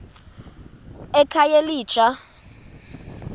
ekhayelitsha